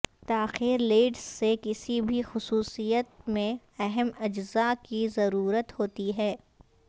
تاخیر لیڈز سے کسی بھی خصوصیت میں اہم اجزاء کی ضرورت ہوتی ہے